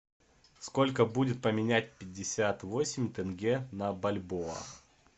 сколько будет поменять пятьдесят восемь тенге на бальбоа